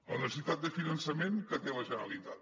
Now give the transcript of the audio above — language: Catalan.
la necessitat de finançament que té la generalitat